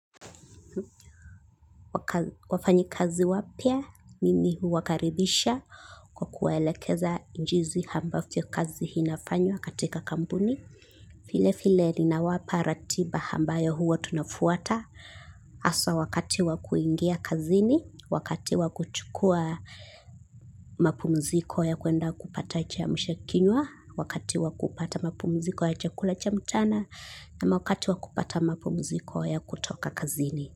Wafanyikazi wapya mimi huwakaribisha kwa kuwaelekeza jinsi ambavyo kazi inafanywa katika kampuni vile vile ninawapa ratiba ambayo huwa tunafuata hasa wakati wa kuingia kazini, wakati wa kuchukua mapumziko ya kwenda kupata chamshakinywa wakati wa kupata mapumziko ya chakula cha mchana ama wakati wa kupata mapumziko ya kutoka kazini.